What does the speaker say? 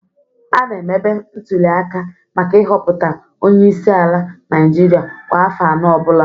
A na-emebe ntulịaka maka ịhọpụta Onye isi ala Naịjirịa kwa afọ anọ ọ bụla